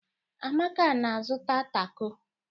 Amaka na-azụta tako.